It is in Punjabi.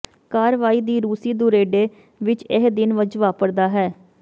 ਕਾਰਵਾਈ ਦੀ ਰੂਸੀ ਦੁਰੇਡੇ ਵਿਚ ਇਹ ਦਿਨ ਵਿੱਚ ਵਾਪਰਦਾ ਹੈ